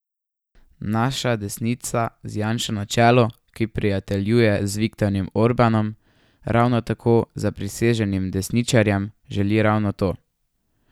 Naša desnica z Janšo na čelu, ki prijateljuje z Viktorjem Orbanom, ravno tako zapriseženim desničarjem, želi ravno to.